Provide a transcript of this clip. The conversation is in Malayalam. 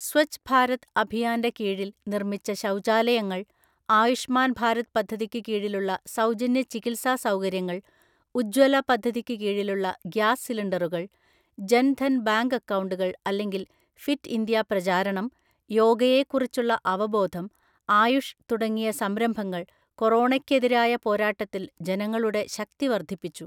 സ്വച്ഛ് ഭാരത് അഭിയാൻ്റെ കീഴിൽ നിർമ്മിച്ച ശൗചാലയങ്ങൾ, ആയുഷ്മാൻ ഭാരത് പദ്ധതിക്ക് കീഴിലുള്ള സൗജന്യ ചികിത്സാ സൗകര്യങ്ങൾ, ഉജ്വല പദ്ധതിക്ക് കീഴിലുള്ള ഗ്യാസ് സിലിണ്ടറുകൾ, ജൻ ധൻ ബാങ്ക് അക്കൗണ്ടുകൾ അല്ലെങ്കിൽ ഫിറ്റ് ഇന്ത്യ പ്രചാരണം, യോഗയെക്കുറിച്ചുള്ള അവബോധം, ആയുഷ് തുടങ്ങിയ സംരംഭങ്ങൾ കൊറോണയ്ക്കെതിരായ പോരാട്ടത്തിൽ ജനങ്ങളുടെ ശക്തി വർദ്ധിപ്പിച്ചു.